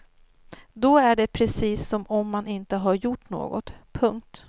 Då är det precis som om man inte har gjort något. punkt